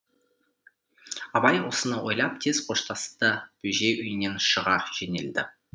абай осыны ойлап тез қоштасты да бөжей үйінен шыға жөнелді